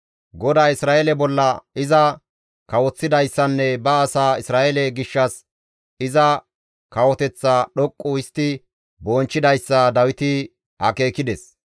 GODAY Isra7eele bolla iza kawoththidayssanne ba asaa Isra7eele gishshas iza kawoteththa dhoqqu histti bonchchidayssa Dawiti akeekides.